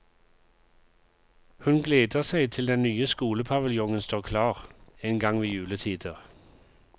Hun gleder seg til den nye skolepaviljongen står klar, en gang ved juletider.